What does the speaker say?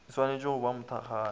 e šwanetše go ba mothakgalo